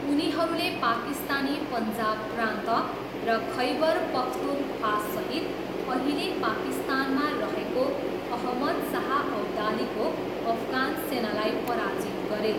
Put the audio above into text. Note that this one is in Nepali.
उनीहरूले पाकिस्तानी पन्जाब प्रान्त र खैबर पख्तुनख्वासहित अहिले पाकिस्तानमा रहेको अहमद शाह अब्दालीको अफगान सेनालाई पराजित गरे।